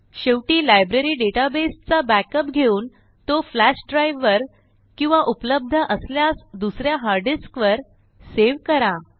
शेवटी लायब्ररी डेटाबेसचा बॅकअप घेऊन तो फ्लॅश ड्राइव वर किंवा उपलब्ध असल्यास दुस या हार्ड डिस्क वर सेव्ह करा